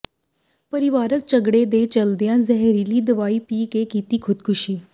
ਪਰਿਵਾਰਿਕ ਝਗੜੇ ਦੇ ਚਲਦਿਆਂ ਜ਼ਹਿਰੀਲੀ ਦਵਾਈ ਪੀ ਕੇ ਕੀਤੀ ਖ਼ੁਦਕੁਸ਼ੀ